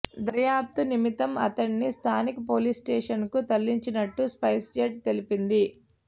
దర్యాప్తు నిమిత్తం అతడిని స్థానిక పోలీసు స్టేషన్కు తరలించినట్లు స్పైస్జెట్ తెలిపింది